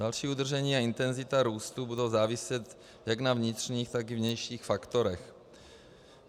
Další udržení a intenzita růstu budou záviset jak na vnitřních, tak i vnějších faktorech.